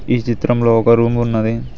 ఈ చిత్రంలో ఒక రూమ్ ఉన్నది.